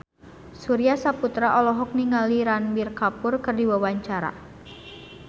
Surya Saputra olohok ningali Ranbir Kapoor keur diwawancara